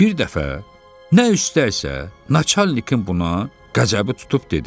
Bir dəfə nə üstəysə, naçalnikin buna qəzəbi tutub dedi: